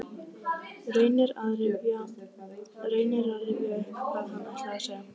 Reynir að rifja upp hvað hann ætlaði að segja.